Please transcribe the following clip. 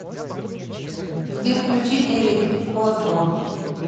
сбер включи дэвид осборн